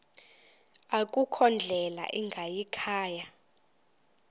akukho ndlela ingayikhaya